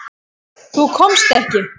Þú komst ekki.